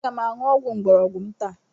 Aga m aṅụ ọgwụ mgbọrọgwụ m taa.